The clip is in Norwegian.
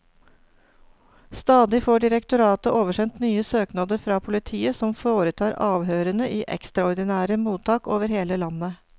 Stadig får direktoratet oversendt nye søknader fra politiet, som foretar avhørene i ekstraordinære mottak over hele landet.